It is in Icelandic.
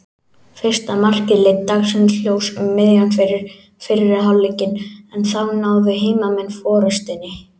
Fyrsta markið leit dagsins ljós um miðjan fyrri hálfleikinn en þá náðu heimamenn forystunni.